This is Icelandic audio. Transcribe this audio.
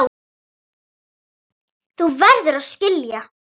Þú verður að skilja.